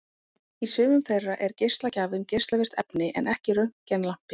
Í sumum þeirra er geislagjafinn geislavirkt efni en ekki röntgenlampi.